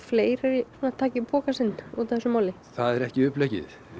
fleiri taki pokann sinn útaf þessu máli það er ekki uppleggið